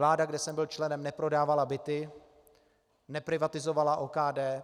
Vláda, kde jsem byl členem, neprodávala byty, neprivatizovala OKD.